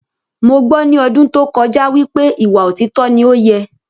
Mo gbọ́ ní ọdún tó kọjá wípé ìwà òtítọ ni ọ́ yẹ